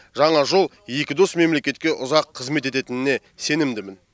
жаңа жол екі дос мемлекетке ұзақ қызмет ететініне сенімдімін